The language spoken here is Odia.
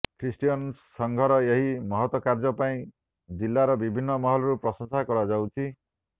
ଖ୍ରୀଷ୍ଟିୟାନ ସଂଘର ଏହି ମହତ କାର୍ଯ୍ୟ ପାଇଁ ଜିଲ୍ଲାର ବିଭିନ୍ନ ମହଲରୁ ପ୍ରଶଂସା କରାଯାଇଛି